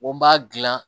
Ko n b'a dilan